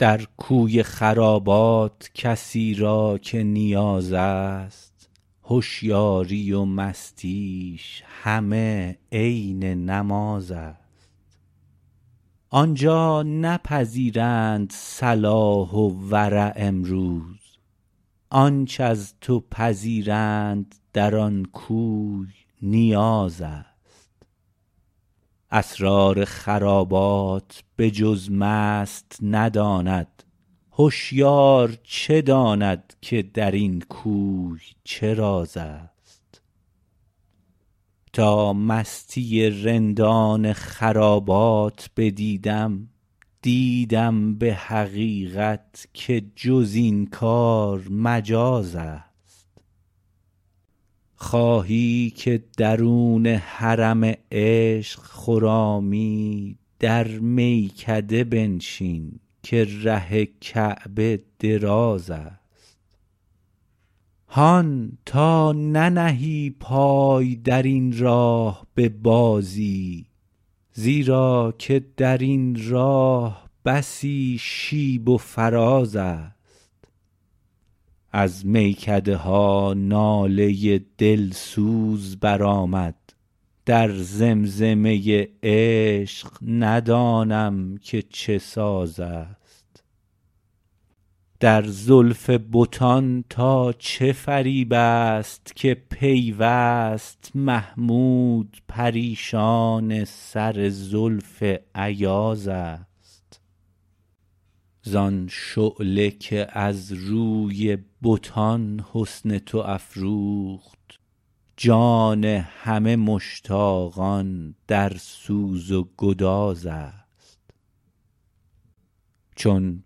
در کوی خرابات کسی را که نیاز است هشیاری و مستیش همه عین نماز است آنجا نپذیرند صلاح و ورع امروز آنچ از تو پذیرند در آن کوی نیاز است اسرار خرابات به جز مست نداند هشیار چه داند که درین کوی چه راز است تا مستی رندان خرابات بدیدم دیدم به حقیقت که جزین کار مجاز است خواهی که درون حرم عشق خرامی در میکده بنشین که ره کعبه دراز است هان تا ننهی پای درین راه ببازی زیرا که درین راه بسی شیب و فراز است از میکده ها ناله دلسوز برآمد در زمزمه عشق ندانم که چه ساز است در زلف بتان تا چه فریب استکه پیوست محمود پریشان سر زلف ایاز است زان شعله که از روی بتان حسن تو افروخت جان همه مشتاقان در سوز و گداز است چون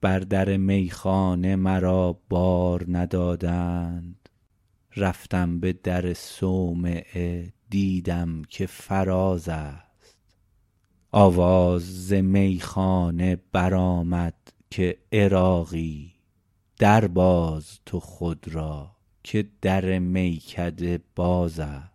بر در میخانه مرا بار ندادند رفتم به در صومعه دیدم که فراز است آواز ز میخانه برآمد که عراقی در باز تو خود را که در میکده باز است